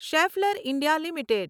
Schaeffler India limited